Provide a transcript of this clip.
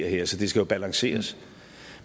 her så det skal jo balanceres